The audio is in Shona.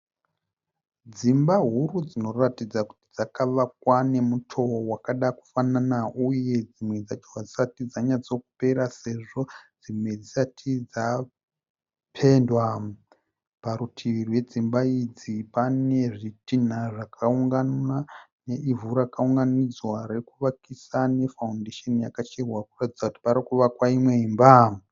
Dzimba huru dzinoratidza kuti dzakavakwa nemutowo wakada kufanana. Uye dzimwe dzacho hadzisati dzanyatso kupera sezvo dzimwe dzisati dza pendwa . Parutivi rwedzimba idzi pane zvitinha zvakaungana ne ivhu rakaunganidzwa re kuvakisa ne foundation yakacherwa kuratidza kuti parikuvakwa imwe imba.